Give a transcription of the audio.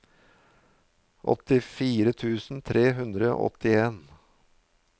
åttifire tusen tre hundre og åttien